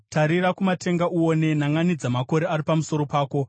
Tarira kumatenga uone; nanʼanidza makore ari pamusoro pako.